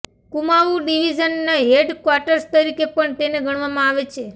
કુમાઉ ડિવીઝનના હેડક્વાર્ટસ તરીકે પણ તેને ગણવામાં આવે છે